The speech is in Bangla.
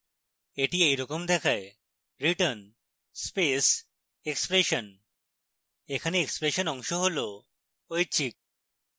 এটি এরকম দেখায়: return space expression এখানে expression অংশ হল ঐচ্ছিক